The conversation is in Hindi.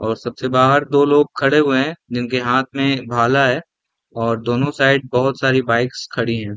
और सबसे बाहर दो लोग खड़े हुए है जिनके हाथ में भाला है और दोनों साइड् बहुत सारी बाइक्स खड़ी हैं ।